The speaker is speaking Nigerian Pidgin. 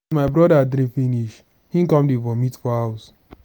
as my broda drink finish him come dey vomit for house.